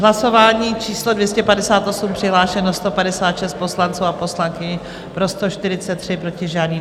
Hlasování číslo 258, přihlášeno 156 poslanců a poslankyň, pro 143, proti žádný.